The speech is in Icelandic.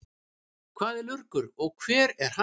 Hvað er lurgur og hvar er hann?